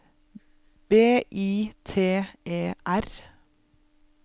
B I T E R